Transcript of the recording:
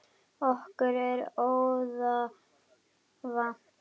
Okkur er orða vant.